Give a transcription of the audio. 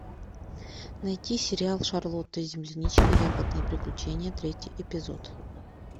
найти сериал шарлотта земляничка ягодное приключение третий эпизод